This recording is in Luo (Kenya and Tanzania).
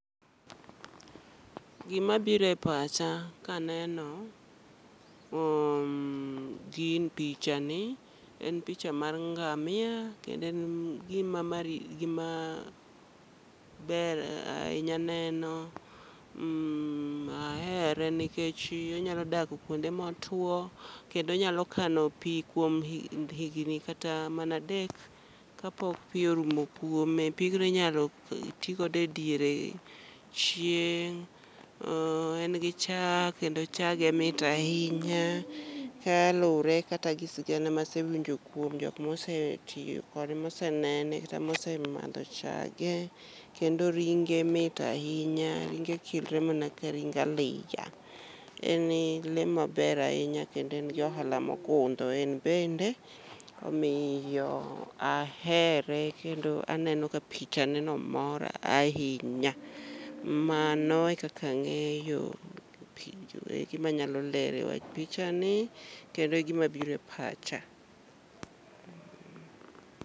Gima bire pacha kaneno gi picha ni, en picha mar ngamia. Kendo en gima mari gima ber ahinya neno mmh, ahere nikech onyalo dak kuonde motwo. Kendo onyalo kano pi kuom higni kata mana adek kapok pi orumo kuome. Pigno inyalo ti godo e diere chieng', en gi chak kendo chage mit ahinya. Ka lure kata gi sigana masewinjo kuom jokma ose tiyo kode mose nene kata mose madho chage. Kendo ringe mit ahinya, ringe kilre mana ka ring aliya. Eni le maber ahinya kendo en gi ohala mogundho en bende, omiyo ahere kendo aneno ka picha ne no mora ahinya. Mano e kaka ang'eyo penjo eki manyalo lero e wach picha ni kendo e gima biro e pacha.